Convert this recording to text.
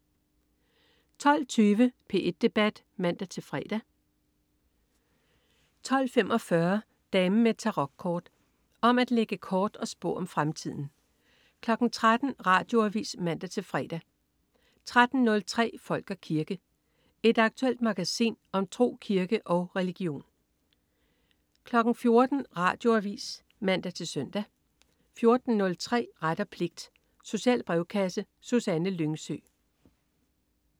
12.20 P1 Debat (man-fre) 12.45 Damen med Tarokkort. Om at lægge kort og spå om fremtiden 13.00 Radioavis (man-fre) 13.03 Folk og kirke. Et aktuelt magasin om tro, kirke og religion 14.00 Radioavis (man-søn) 14.03 Ret og pligt. Social brevkasse. Susanne Lyngsø